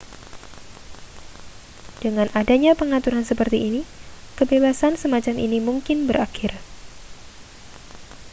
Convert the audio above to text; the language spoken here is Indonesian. dengan adanya pengaturan seperti ini kebebasan semacam ini mungkin berakhir